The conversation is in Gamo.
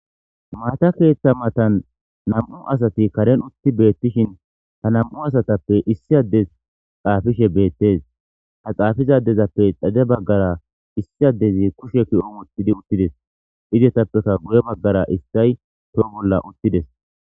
Maata keeththa matan nam'u asati karen utti beettishin ha nam'u asatappe issi addes xaafishe beettes ha xaafizadezappe dhade baggara issi addezi kushe ki'o uttidi uttides idetappeka guye baggara issay too bolla uttides.